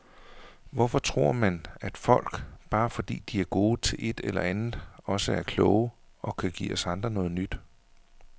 Hvorfor tror man, at folk, bare fordi de er gode til et eller andet, også er kloge og kan give os andre noget nyt.